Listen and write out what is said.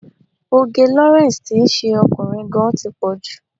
Òge Lawrence tí ń ṣe ọkùnrin gan-an tí pọ̀ jù.